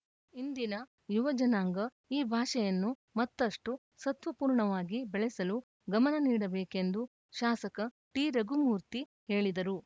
ಇಂದಿನ ಯುವ ಜನಾಂಗ ಈ ಭಾಷೆಯನ್ನು ಮತ್ತಷ್ಟುಸತ್ವಪೂರ್ಣವಾಗಿ ಬೆಳೆಸಲು ಗಮನ ನೀಡಬೇಕೆಂದು ಶಾಸಕ ಟಿರಘುಮೂರ್ತಿ ಹೇಳಿದರು